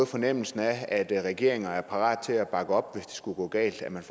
fornemmelse af at regeringer er parate til at bakke op hvis det skulle gå galt og man